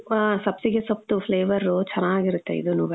ಆ, ಸಬ್ಸಿಗೆ ಸೊಪ್ಪುದು Flavour ಚನಾಗಿರುತ್ತೆ ಇದುನುವೆ.